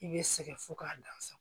I bɛ sɛgɛn fo k'a dan sa